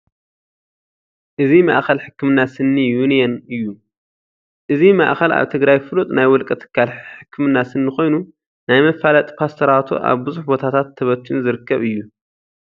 እዚ ማእኸል ሕክምና ስኒ ዩንየን እዩ፡፡ እዚ ማእከል ኣብ ትግራይ ፍሉጥ ናይ ውልቀ ትካል ሕክምና ስኒ ኮይኑ ናይ መፋለጢ ፖስተራቱ ኣብ ብዙሕ ቦታታት ተበቲኑ ዝርከብ እዩ፡፡